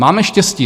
Máme štěstí.